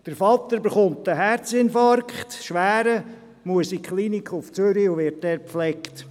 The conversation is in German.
Der Vater erleidet einen schweren Herzinfarkt, muss in die Klinik nach Zürich und wird dort gepflegt.